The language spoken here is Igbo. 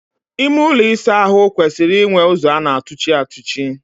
Ime ụlọ ịsa ahụ kwesịrị inwe ụzọ a na-atụchi atụchi.